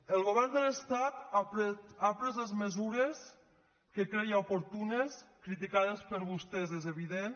el govern de l’estat ha pres les mesures que creia oportunes criticades per vostès és evident